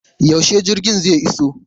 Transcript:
Yaushe jirgin zai iso?